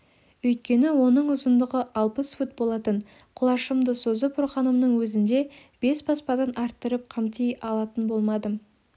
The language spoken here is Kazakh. өйткені оның ұзындығы алпыс фут болатын құлашымды созып ұрғанымның өзінде бес баспадан арттырып қамти алатын болмадым